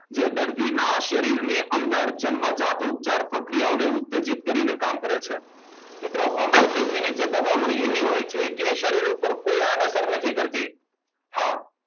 જે દર્દીના શરીરની અંદર જન્મજાત ઉત્તર પ્રક્રિયાઓને ઉત્સર્જિત કરીને કામ કરે છે મિત્રો હોમિયોપેથીક ની જે દવાઓ એવી હોય છે કે શરીર ઉપર કોઈ આડ અસર નથી કરતું હા